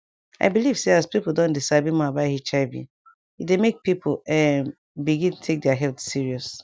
i believe say as people don dey sabi more about hiv e dey make people[um]begin take their health serious